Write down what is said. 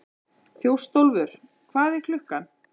Þjóstólfur, hvað er klukkan?